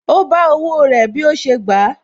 Ó bá owó rẹ̀ bí ó ṣe gbà á